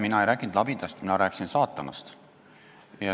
Mina ei rääkinud labidast, mina rääkisin saatanast.